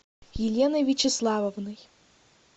еленой вячеславовной